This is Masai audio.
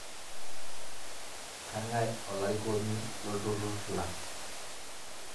Kang'ae olarikoni lolturrur lang' ?